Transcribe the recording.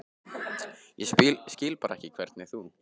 Ég skil bara ekki hvernig þú.